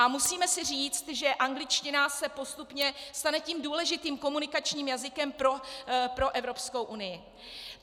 A musíme si říci, že angličtina se postupně stane tím důležitým komunikačním jazykem pro Evropskou unii.